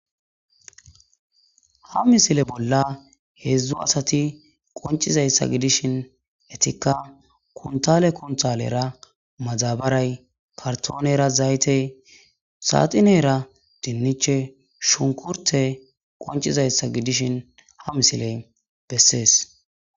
ha misile bolla heedzdzu asati qoncizayssa gidishin etikka kuntale kuntalera mazabaray kartoonera zaytey saatinera dinniche shunkurte qoncizayssa gidishin ha misiley bessees